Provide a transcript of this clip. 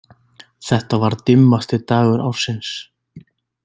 Þetta var dimmasti dagur ársins.